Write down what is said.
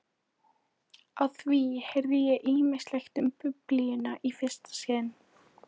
Á því heyrði ég ýmislegt um Biblíuna í fyrsta sinn.